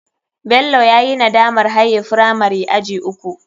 Bello yayi nadamar haye firamari aji uku.